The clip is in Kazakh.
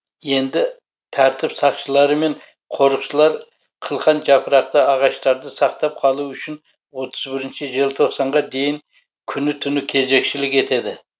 енді тәртіп сақшылары мен қорықшылар қылқан жапырақты ағаштарды сақтап қалу үшін отыз бірінші желтоқсанға дейін күні түні кезекшілік етеді